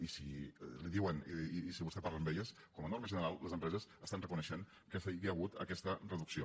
i si li diuen si vostè parla amb elles com a norma general les empreses reconeixen que hi ha hagut aquesta reducció